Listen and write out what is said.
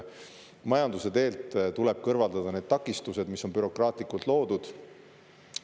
Majanduse teelt tuleb kõrvaldada need takistused, mis on bürokraatlikult loodud.